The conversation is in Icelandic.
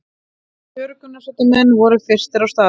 Björgunarsveitarmenn voru fyrstir á staðinn